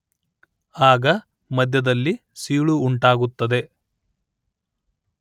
ಆಗ ಮಧ್ಯದಲ್ಲಿ ಸೀಳು ಉಂಟಾಗುತ್ತದೆ